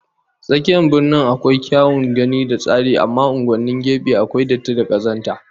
Tsakiyar Birnin mu akwai kyawun gani da tsari amma unguwannin gefe akwai datti da kazanta